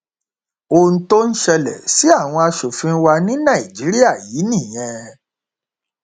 ohun tó ń ṣẹlẹ sí àwọn asòfin wa ní nàìjíríà yìí nìyẹn